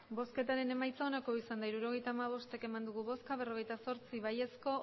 emandako botoak hirurogeita hamabost bai berrogeita zortzi abstentzioak